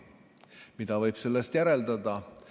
Mida võib sellest järeldada?